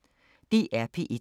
DR P1